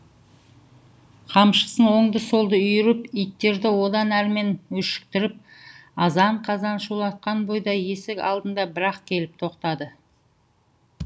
қамшысын оңды солды үйіріп иттерді одан әрмен өшіктіріп азан қазан шулатқан бойда есік алдына бір ақ келіп тоқтады